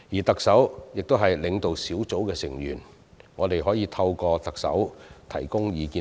特首是領導小組的成員，我們可透過特首向小組提供意見。